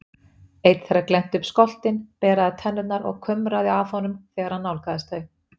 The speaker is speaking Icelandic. Eitt þeirra glennti upp skoltinn, beraði tennurnar og kumraði að honum þegar hann nálgaðist þau.